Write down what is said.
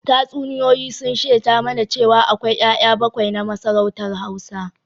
Tatsuniyoyi sun shaida mana cewa akwai ‘ya’ya bakwai na masarautar Hausa